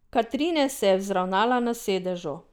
Katrine se je vzravnala na sedežu.